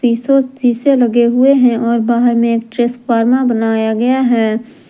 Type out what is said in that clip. शीशो शीशे लगे हुए हैं और बाहर में एक ट्रेसफार्मा बनाया गया है।